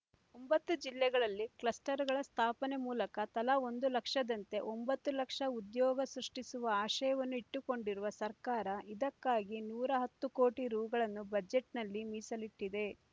ಒಂಬತ್ತು ಜಿಲ್ಲೆಗಳಲ್ಲಿ ಕ್ಲಸ್ಟರ್‌ಗಳ ಸ್ಥಾಪನೆ ಮೂಲಕ ತಲಾ ಒಂದು ಲಕ್ಷದಂತೆ ಒಂಬತ್ತು ಲಕ್ಷ ಉದ್ಯೋಗ ಸೃಷ್ಟಿಸುವ ಆಶಯವನ್ನು ಇಟ್ಟುಕೊಂಡಿರುವ ಸರ್ಕಾರ ಇದಕ್ಕಾಗಿ ನೂರ ಹತ್ತು ಕೋಟಿ ರೂ ಗಳನ್ನು ಬಜೆಟ್‌ನಲ್ಲಿ ಮೀಸಲಿಟ್ಟಿದೆ